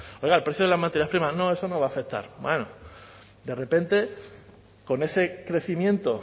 oiga el precio de las materias primas no eso no va a afectar bueno de repente con ese crecimiento